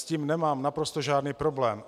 S tím nemám naprosto žádný problém.